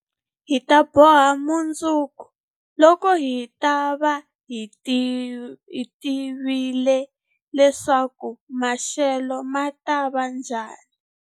Hi ta boha mundzuku, loko hi ta va hi tivile leswaku maxelo ma ta va njhani